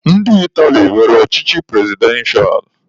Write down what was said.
Ndị Itali nwere ọchịchị prezidentịa.